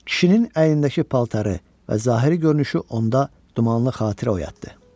Kişinin əynindəki paltarı və zahiri görünüşü onda dumanlı xatirə oyatdı.